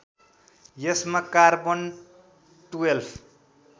यसमा कार्बन १२